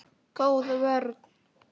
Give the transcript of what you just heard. Góð vörn.